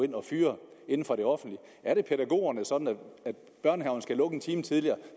ind og fyre inden for det offentlige er det pædagogerne sådan at børnehaverne skal lukke en time tidligere